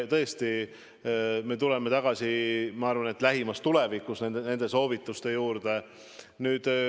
Tõesti, me tuleme tagasi, ma arvan, lähimas tulevikus nende soovituste juurde.